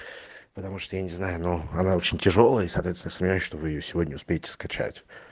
потому что я не знаю но она очень тяжёлая и соответственно смотря что вы её сегодня успеете скачать